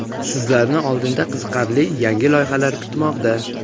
sizlarni oldinda qiziqarli yangi loyihalar kutmoqda!.